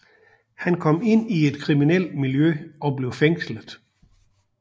Han kom ind i et kriminelt miljø og blev fængslet